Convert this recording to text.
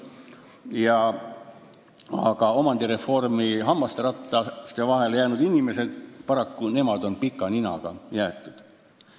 Aga omandireformi hammasrataste vahele jäänud inimesed on paraku pika ninaga jäetud.